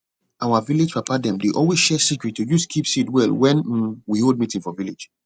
our vilage papa dem dey always share secret to use keep seed well wen um we hold meeting for village